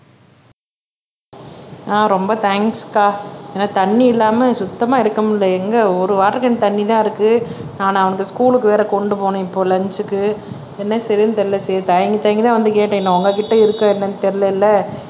ஆஹ் ரொம்ப தேங்க்ஸ் அக்கா ஏன்னா தண்ணி இல்லாம சுத்தமா இருக்க முடியல எங்க ஒரு வாட்டர் கேன் தண்ணி தான் இருக்கு நான் அவனுக்கு ஸ்கூலுக்கு வேற கொண்டு போகணும் இப்போ லஞ்சுக்கு என்ன செய்யறதுன்னு தெரியல சரி தயங்கி தயங்கி தான் வந்து கேட்டேன் ஏன்னா உங்ககிட்ட இருக்கா என்னன்னு தெரியலல்ல